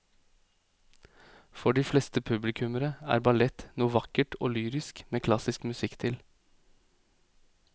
For de fleste publikummere er ballett noe vakkert og lyrisk med klassisk musikk til.